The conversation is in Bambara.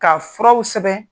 K'a furaw sɛbɛn.